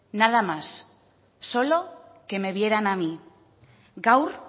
nada más solo que me vieran a mí gaur